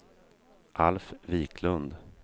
Alf Viklund